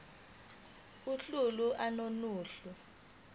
uhlu a nohlu